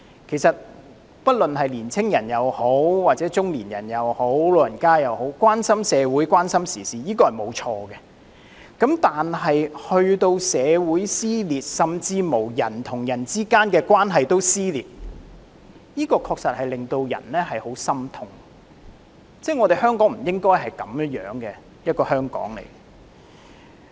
其實，不論是青年人、中年人或長者，關心社會和時事並沒有錯，但如果令社會撕裂，甚至人與人之間的關係都撕裂，確實令人感到十分心痛，香港不應是這樣的。